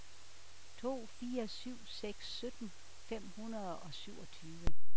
to fire syv seks sytten fem hundrede og syvogtyve